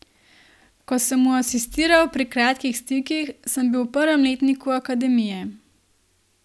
Ko sem mu asistiral pri Kratkih stikih, sem bil v prvem letniku Akademije.